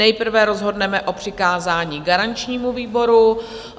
Nejprve rozhodneme o přikázání garančnímu výboru.